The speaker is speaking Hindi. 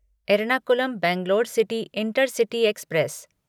Ernakulam Bangalore city intercity express